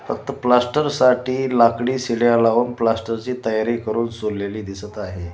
फक्त प्लास्टर साठी लाकडी शिड्या लावून प्लास्टर ची तयारी करून झोलेली दिसत आहे.